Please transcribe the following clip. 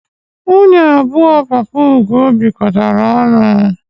Nwunye abụọ papa Ugo bikọtaara ọnụ.